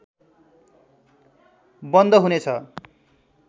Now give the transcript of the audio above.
बन्द हुने छ